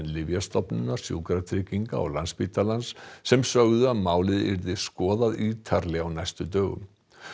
Lyfjastofnunar Sjúkratrygginga og Landspítalans sem sögðu að málið yrði skoðað ítarlega á næstu dögum